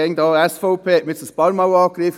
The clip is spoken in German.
Die SVP wurde nun einige Male angegriffen.